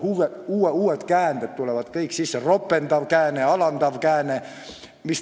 Tulevad aina uued käänded: ropendav kääne, alandav kääne.